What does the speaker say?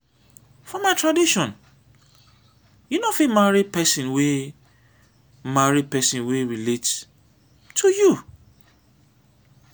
for my tradition you no fit marry pesin wey marry pesin wey relate to you.